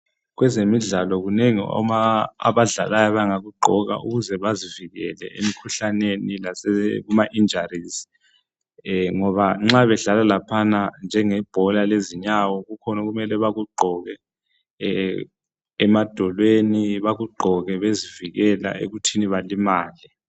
Kwezemidlalo kunengi abadlalayo bangakugqoka ukuze bezivikele emkhuhlaneni lasema injarizi ngoba nxa bedlala laphana njengebhola lezinyawo kukhona okumele bakugqoke emadolweni bekugqoke bezivikela ekuthini balimale.